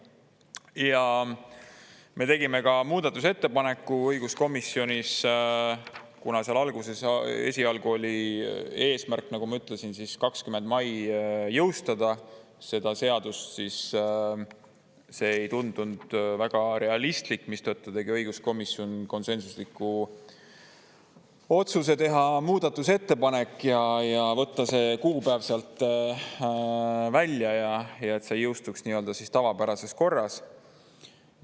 Ja me tegime ka muudatusettepaneku õiguskomisjonis, kuna seal alguses esialgu oli eesmärk, nagu ma ütlesin, 20 mai jõustada seda seadust, siis see ei tundunud väga realistlik, mistõttu tegi õiguskomisjon konsensusliku otsuse teha muudatusettepanek ja võtta see kuupäev sealt välja ja et see jõustuks nii-öelda tavapärases korras.